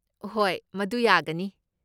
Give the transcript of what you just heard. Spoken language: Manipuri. ꯍꯣꯏ, ꯃꯗꯨ ꯌꯥꯒꯅꯤ꯫